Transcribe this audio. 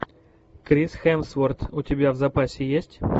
крис хемсворт у тебя в запасе есть